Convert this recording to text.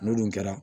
N'olu kɛra